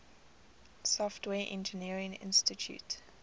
software engineering institute